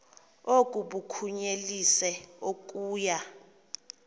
oku bakunyelise okuya